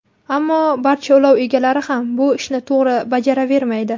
Ammo barcha ulov egalari ham bu ishni to‘g‘ri bajaravermaydi.